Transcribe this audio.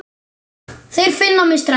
Þeir finna mig strax.